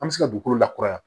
An bɛ se ka dugukolo lakuraya